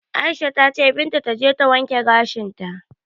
Aisha ta cewa Binta taje ta wanke gashinta.